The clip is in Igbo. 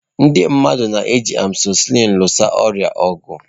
Ndị mmadụ na-eji amọsịlịn lụso ọrịa ọgụ.